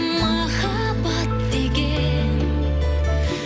махаббат деген